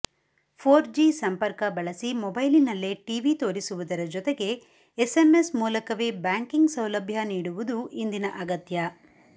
four G ಸಂಪರ್ಕ ಬಳಸಿ ಮೊಬೈಲಿನಲ್ಲೇ ಟೀವಿ ತೋರಿಸುವುದರ ಜೊತೆಗೆ ಎಸ್ಸೆಮ್ಮೆಸ್ ಮೂಲಕವೇ ಬ್ಯಾಂಕಿಂಗ್ ಸೌಲಭ್ಯ ನೀಡುವುದೂ ಇಂದಿನ ಅಗತ್ಯ